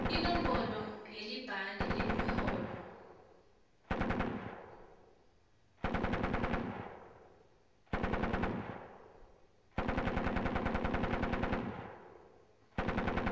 inombolo yelibhande lemiholo